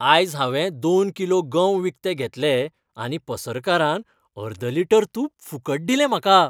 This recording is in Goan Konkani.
आयज हांवें दोन किलो गंव विकते घेतले आनी पसरकारान अर्द लिटर तूप फुकट दिलें म्हाका .